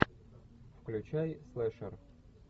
включай слешер